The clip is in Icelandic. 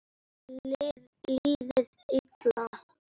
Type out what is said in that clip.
Liðið illa?